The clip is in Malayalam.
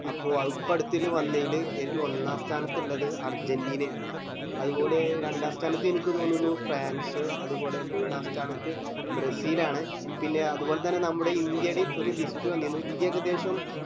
അപ്പൊ ഇപ്പൊ അടുത്തെല് വന്നേല് എട്ടോ ഒന്നാസ്ഥാനത്ത് ഇള്ളത് അർജന്റീന ആണ് അതുപോലെ രണ്ടാസ്ഥാനത്ത് അനക്ക് തോന്നു ഫ്രാൻസ് അത് പോലെ മൂന്നു സ്ഥലത്ത് നമ്മുടെ ബ്രസിൽ ആണ് പിന്നെ അത് പോലെത്തന്നെ നമ്മടെ ഇന്ത്യെടേം ഒരു lift വെണ്ണീരുന്നു ഇന്ത്യ ഏകദേശം